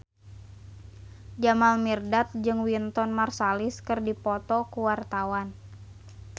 Jamal Mirdad jeung Wynton Marsalis keur dipoto ku wartawan